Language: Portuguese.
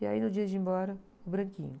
E aí, no dia de ir embora, o branquinho.